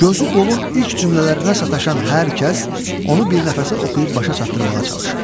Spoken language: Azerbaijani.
Gözü qolun ilk cümlələrinə sataşan hər kəs onu bir nəfəsə oxuyub başa çatdırmağa çalışır.